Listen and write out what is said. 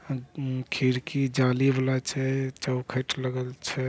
ह उम्म खिड़की जाली वाला छै चौखेएट लगल छै।